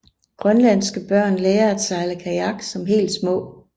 Grønlandske børn lærer at sejle kajak som helt små